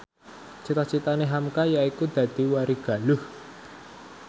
cita citane hamka yaiku dadi warigaluh